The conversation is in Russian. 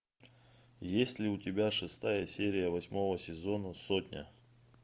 есть ли у тебя шестая серия восьмого сезона сотня